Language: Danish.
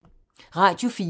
Radio 4